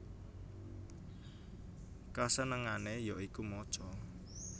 Kasenengane ya iku maca